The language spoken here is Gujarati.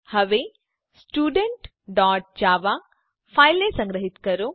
હવે studentજાવા ફાઈલને સંગ્રહીત કરો